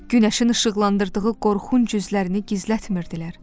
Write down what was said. Günəşin işıqlandırdığı qorxunc üzlərini gizlətmirdilər.